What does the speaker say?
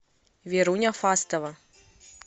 веруня фастова